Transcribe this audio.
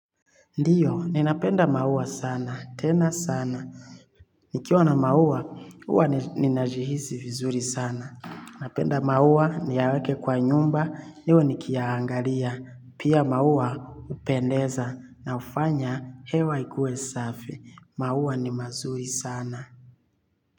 Ndiyo, ninapenda maua sana, tena sana. Nikiwa na maua, uwa ninajihizi vizuri sana. Napenda maua niyaweke kwa nyumba niwe nikiyaangalia. Pia maua upendeza na ufanya hewa ikue safi. Maua ni mazuri sana.